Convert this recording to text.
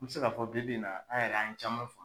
N bɛ se k'a fɔ bi bi nin na an yɛrɛ an ye caman famu.